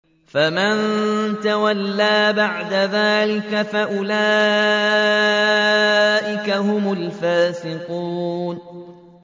فَمَن تَوَلَّىٰ بَعْدَ ذَٰلِكَ فَأُولَٰئِكَ هُمُ الْفَاسِقُونَ